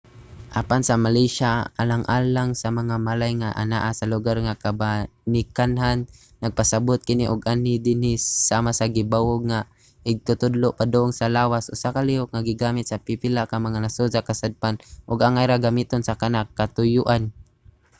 apan sa malaysia alang lang sa mga malay nga anaa sa lugar sa kabanikanhan nagpasabot kini og anhi dinhi, sama sa gibawog nga igtutudlo padung sa lawas usa ka lihok nga gigamit sa pipila ka mga nasod sa kasadpan ug angay ra gamiton sa kana nga katuyoan